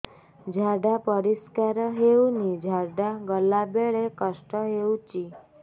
ଝାଡା ପରିସ୍କାର ହେଉନି ଝାଡ଼ା ଗଲା ବେଳେ କଷ୍ଟ ହେଉଚି